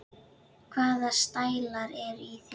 Hvaða stælar eru í þér?